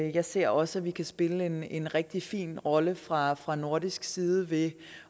jeg ser også at vi kan spille en en rigtig fin rolle fra fra nordisk side ved